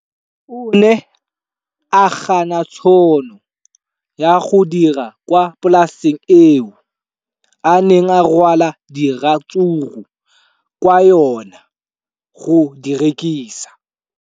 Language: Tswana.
O ne a gana tšhono ya go dira kwa polaseng eo a neng rwala diratsuru kwa go yona go di rekisa.